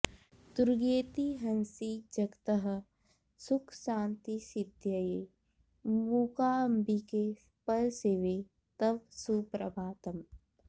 दुर्गेति हंसि जगतः सुखशान्तिसिद्ध्यै मूकाम्बिके परशिवे तव सुप्रभातम्